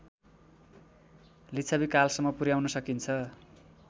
लिच्छविकालसम्म पुर्‍याउन सकिन्छ